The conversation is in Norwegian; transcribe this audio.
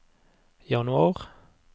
januar